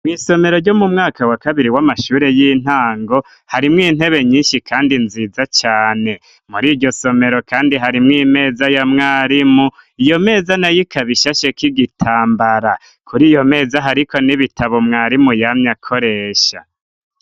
Mw'isomero ryo mu mwaka wa kabiri w'amashuri y'intango harimwo intebe nyinshi kandi nziza cane .Muri iryo somero kandi harimw imeza ya mwarimu iyo meza na yikabishashe k'igitambara kuri iyo meza hariko n'ibitabo mwarimu yamye akoresha